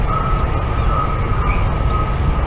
और कैमरे और गुभारे लगे हुए दिखाई--